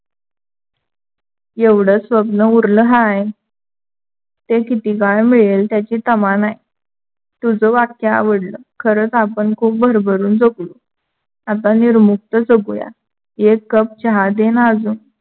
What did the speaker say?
एवढ स्वप्न उरल हाय. ते कीती काळ मिडल त्याची तमा नाही. तुझ वाक्य आवडल. खरच आपण खूप भरभरून जगू. आता निरमुक्त जगू.